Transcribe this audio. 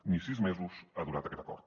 ni sis mesos ha durat aquest acord